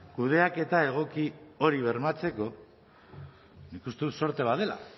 kudeaketa egoki hori bermatzeko nik uste dut zorte bat dela